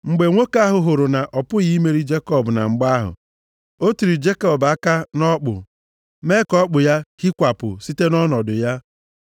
Mgbe nwoke ahụ hụrụ na ọ pụghị imeri Jekọb na mgba ahụ, o tiri Jekọb aka nʼọkpụ, mee ka ọkpụ ya hịkwapụ site nʼọnọdụ ya.